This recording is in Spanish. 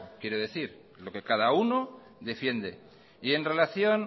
quiero decir lo que cada uno defiende y en relación